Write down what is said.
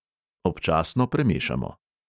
Občasno premešamo.